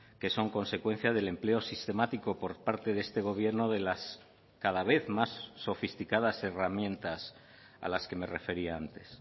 que son consecuencia del empleo sistemático por parte de este gobierno de las cada vez más sofisticadas herramientas a las que me refería antes